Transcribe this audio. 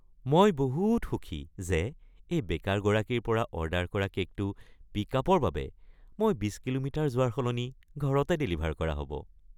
মই বহুত সুখী যে এই বেকাৰগৰাকীৰ পৰা অৰ্ডাৰ কৰা কে'কটো পিক্আপৰ বাবে মই ২০ কিলোমিটাৰ যোৱাৰ সলনি ঘৰতে ডেলিভাৰ কৰা হ'ব।